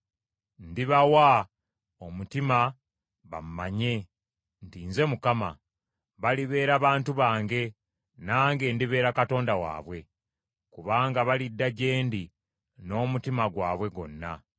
Ndibawa omutima bammanye, nti nze Mukama . Balibeera bantu bange, nange ndibeera Katonda waabwe, kubanga balidda gye ndi n’omutima gwabwe gwonna.